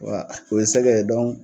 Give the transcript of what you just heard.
Wa o ye sɛgɛ ye